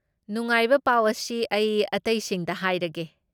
ꯅꯨꯡꯉꯥꯏꯕ ꯄꯥꯎ ꯑꯁꯤ ꯑꯩ ꯑꯇꯩꯁꯤꯡꯗ ꯍꯥꯏꯔꯒꯦ!